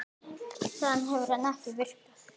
Þaðan hefur hann ekki vikið.